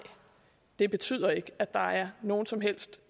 det betyder ikke at der er nogen som helst